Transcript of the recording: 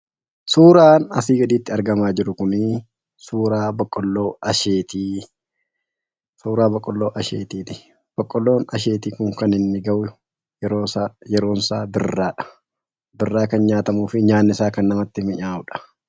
Suuraan asii gaditti argamaa jiru kunii suuraa boqqolloo asheetii suuraa boqqolloo ashetiiti. Boqqolloo Asheetiin kun kan inni ga'u yeroonsaa birraadha. Birraa kan nyaatamuu fi nyaanni isaa kan namatti minyaa'udha.